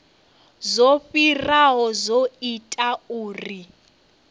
zwo fhiraho zwo ita uri